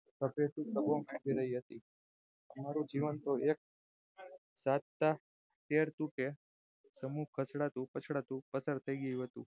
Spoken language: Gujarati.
મારુ જીવન તો એક સાંધતા તેર તૂટે તેમ પછડાતું પછાડાતું પસાર થાય રહ્યું હતું